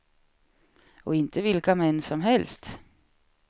Och inte vilka män som helst.